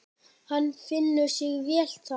Hann finnur sig vel þar.